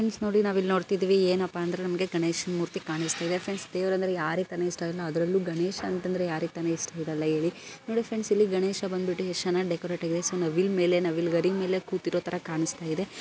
ನೋಡಿ ನಾವು ನೋಡ್ತಿವಿ ಏನಪ್ಪ ಅಂದ್ರೆ ನಮಗೆ ಗಣೇಶ ಮೂರ್ತಿ ಕಾಣಿಸುತ್ತದೆ. ಫ್ರೆಂಡು ದೇವರ ಅಂದ್ರೆ ಯಾರಿಗೆ ತಾನೇ ಇಷ್ಟವಿಲ್ಲ. ಅದರಲ್ಲೂ ಗಣೇಶ್ ಅಂದ್ರೆ ಯಾರಿಗ್ತಾನೆ ಇಷ್ಟ ಇಲ್ಲ ಹೇಳಿ ನೋಡಿ ಫ್ರೆಂಡ್ ಅಲ್ಲಿ ಗಣೇಶ ಬಂದಬಿಟ್ಟು ಯಸ್ಟ್ ಚೆನ್ನಾಗಿ ಡೆಕೊರೇಟಆಗಿದೆ ಸೊ ನವಿಲ್ ಮೇಲೆ ನವಿಲುಗರಿ ಮೇಲೆ ಕೂತಿರೋ ತರ ಕಾನಿಸ್ತಾಇದೆ.